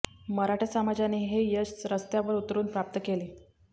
मराठा समाजाने हे यश रस्त्यावर उतरून प्राप्त केले